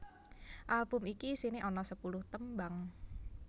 Album iki isiné ana sepuluh tembang